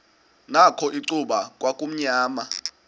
nakho icuba kwakumnyama